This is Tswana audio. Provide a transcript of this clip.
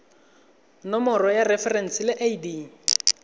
nomoro ya referense le id